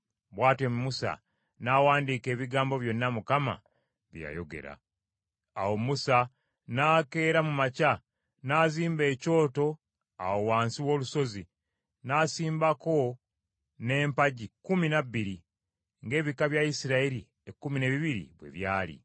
Bw’atyo Musa n’awandiika ebigambo byonna Mukama bye yayogera. Awo Musa n’akeera mu makya n’azimba ekyoto awo wansi w’olusozi; n’asimbako n’empagi kkumi na bbiri ng’ebika bya Isirayiri ekkumi n’ebibiri bwe byali.